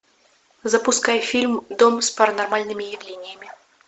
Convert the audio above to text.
запускай фильм дом с паранормальными явлениями